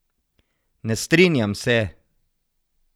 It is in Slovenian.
Ne strinjam se!